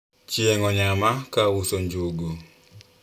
chieng onyama ka auso njugu